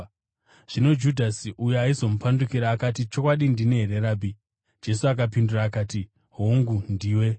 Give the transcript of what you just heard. Zvino Judhasi uyo aizomupandukira akati, “Chokwadi, ndini here, Rabhi?” Jesu akapindura akati, “Hongu, ndiwe.”